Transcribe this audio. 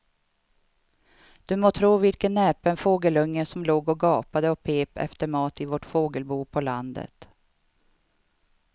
Du må tro vilken näpen fågelunge som låg och gapade och pep efter mat i vårt fågelbo på landet.